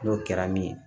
N'o kɛra min ye